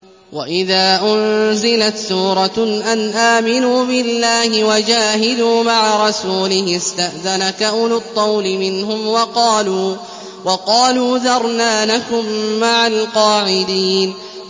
وَإِذَا أُنزِلَتْ سُورَةٌ أَنْ آمِنُوا بِاللَّهِ وَجَاهِدُوا مَعَ رَسُولِهِ اسْتَأْذَنَكَ أُولُو الطَّوْلِ مِنْهُمْ وَقَالُوا ذَرْنَا نَكُن مَّعَ الْقَاعِدِينَ